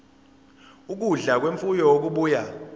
ukudla kwemfuyo okubuya